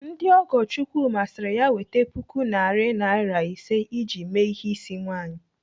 Ndị ọgọ Chukwuma siri ya weta puku narị naira ise iji mee ihe ịsị nwaanyị.